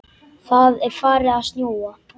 Það er farið að snjóa.